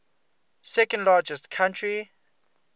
second largest country